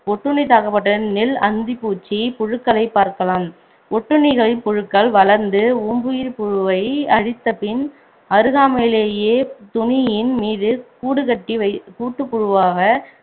ஒட்டுண்ணிதாக்கப்பட்ட நெல் அந்திப்பூச்சி புழுக்களை பார்க்கலாம் ஒட்டுண்ணிகளின் புழுக்கள் வளர்ந்து ஓம்புயிர் புழுவை அழித்த பின் அருகாமையிலேயே துணியின் மீது கூடுகட்டி வை~ கூட்டுப்புழுவாக